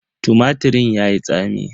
Tumatirin yayi tsami.